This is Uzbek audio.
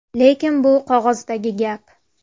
Lekin bu qog‘ozdagi gap.